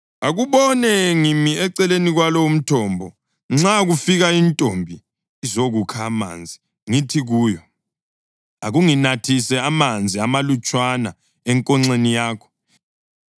Akubone, ngimi eceleni kwalo umthombo; nxa kufika intombi izokukha amanzi, ngithi kuyo, “Akunginathise amanzi amalutshwana enkonxeni yakho,”